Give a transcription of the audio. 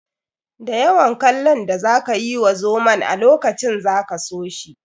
Da yawan kallon da za ka yi wa zomon a lokacin za ka so shi.